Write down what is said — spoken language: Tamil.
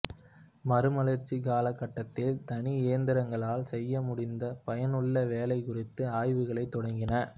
மறுமலர்ச்சிக் கால கட்டத்தில் தனி எந்திரங்களால் செய்ய முடிந்த பயனுள்ள வேலை குறித்த ஆய்வுகள் தொடங்கின